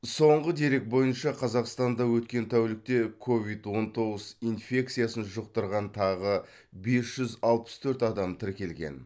соңғы дерек бойынша қазақстанда өткен тәулікте ковид он тоғыз инфекциясын жұқтырған тағы бес жүз алпыс төрт адам тіркелген